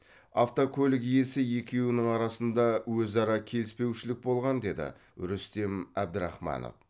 автокөлік иесі екеуінің арасында өзара келіспеушілік болған деді рүстем әбдірахманов